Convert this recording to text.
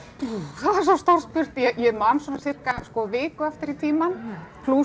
það er svo stórt spurt ég man svona sirka sko viku aftur í tímann plús